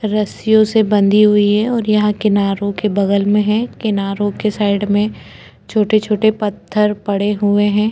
रस्सियों से बंधी हुई है और यहाँ किनारो के बगल में है किनारो के साइड में छोटे-छोटे पत्थर पड़े हुए है।